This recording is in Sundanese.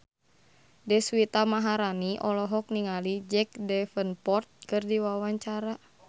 Deswita Maharani olohok ningali Jack Davenport keur diwawancara